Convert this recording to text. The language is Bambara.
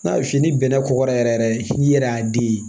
N'a f'i ni bɛnɛ kɔgɔra yɛrɛ yɛrɛ n'i yɛrɛ y'a di ye